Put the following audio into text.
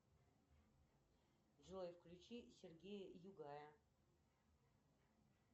джой включи сергея югая